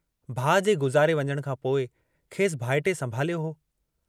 भाउ जे गुज़ारे वञण खां पोइ खेसि भाइटिए संभालियो हो।